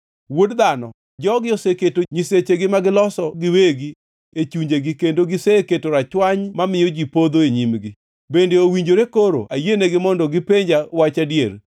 “Wuod dhano, jogi oseketo nyisechegi ma giloso giwegi e chunjegi kendo giseketo rachwany mamiyo ji podho e nyimgi. Bende owinjore koro ayienegi mondo gipenja wach adier?